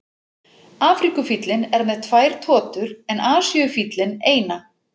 Afríkufíllinn er með tvær totur en Asíufíllinn eina.